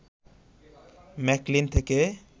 McLean থেকে